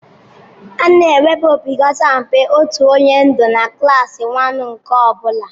A na-enwebu opekata mpe otu onye ndu na klaasị waanu nke ọ bụla.